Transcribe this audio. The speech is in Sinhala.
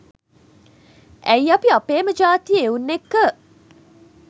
ඇයි අපි අපේම ජාතියේ එවුන් එක්ක